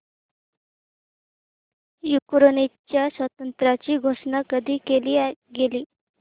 युक्रेनच्या स्वातंत्र्याची घोषणा कधी केली गेली